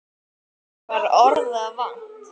Okkur var orða vant.